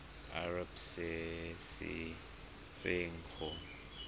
irp se se tswang go